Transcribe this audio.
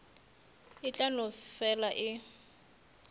e tla no fela e